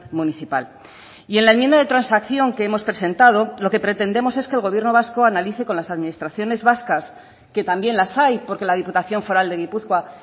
municipal y en la enmienda de transacción que hemos presentado lo que pretendemos es que el gobierno vasco analice con las administraciones vascas que también las hay porque la diputación foral de gipuzkoa